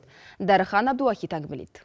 дәріхан әбдуахит әңгімелейді